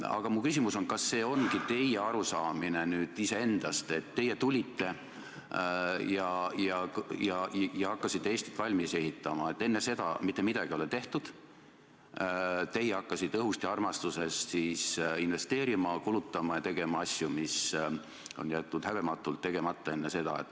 Aga minu küsimus: kas see ongi teie arusaamine iseendast, et teie tulite ja hakkasite Eestit valmis ehitama, enne seda ei ole mitte midagi tehtud, teie hakkasite õhust ja armastusest siis investeerima, kulutama ja tegema asju, mis enne oli häbematult tegemata jäetud?